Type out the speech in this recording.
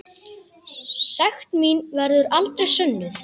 Sekt mín verður aldrei sönnuð.